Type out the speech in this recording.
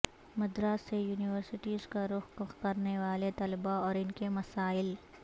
مدارس سے یونیورسٹیزکا رخ کرنے والے طلبہ اور ان کے مسائل